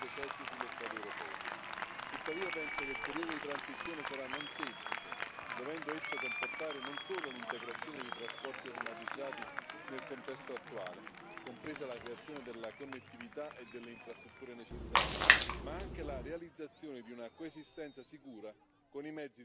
Avem o Europă digitalizată și trebuie să adaptăm și transportul la aceste noi tehnologii și să venim din urmă cu automobile moderne, asistate de calculator. Trebuie să trecem de la transportul rutier la cel pe cale ferată. Sunt foarte multe lucruri, le cunoașteți foarte